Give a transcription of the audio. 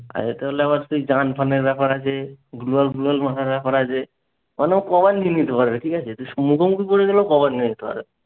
আর এটা হলো আমার সেই ফানের ব্যাপার আছে। গ্লোওয়াল ফ্লোওয়াল ব্যাপার আছে। মানে ও কমান্ড নিয়ে নিতে পারবে ঠিক আছে? তুই শুধু মুখে বলে দিবি ও command নিয়ে নিতে পারবে।